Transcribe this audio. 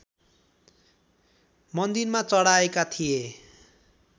मन्दिरमा चढाएका थिए